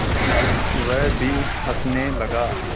वह भी हँसने लगा